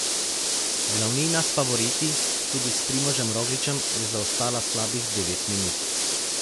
Glavnina s favoriti, tudi s Primožem Rogličem, je zaostala slabih devet minut.